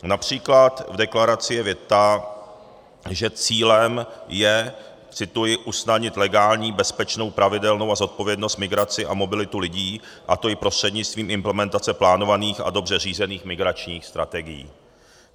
Například v deklaraci je věta, že cílem je - cituji - usnadnit legální, bezpečnou, pravidelnou a zodpovědnou migraci a mobilitu lidí, a to i prostřednictvím implementace plánovaných a dobře řízených migračních strategií.